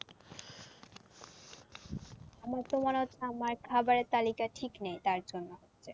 আমার তো মনে হচ্ছে আমার খাবারের তালিকা ঠিক নেই তার জন্য হচ্ছে।